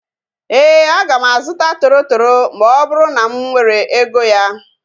Éè, aga m azụta toro toro ma ọ bụrụ na m nwere ego ya